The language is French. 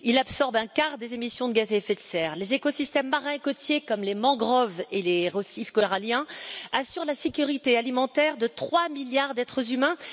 Il absorbe un quart des émissions de gaz à effet de serre. Les écosystèmes marins et côtiers, comme les mangroves et les récifs coralliens, assurent la sécurité alimentaire de trois milliards d'êtres humains.